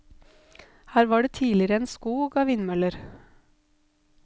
Her var det tidligere en skog av vindmøller.